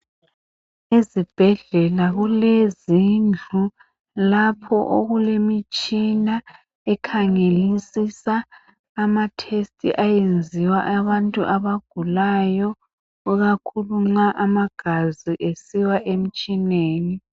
Ezibhedlela kulezindlu lapho okulemitshina ekhangelisisa amatest ayenziwa ikakhulu nxa amagazi esiya emtshineni.